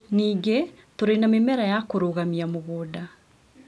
Ningĩ, tũrĩ na mĩmera ya kũrũgamia mũgũnda